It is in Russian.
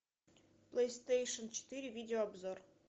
плейстейшн четыре видео обзор